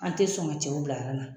An te sɔn ka cɛw bila aran na.